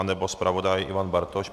Nebo zpravodaj Ivan Bartoš?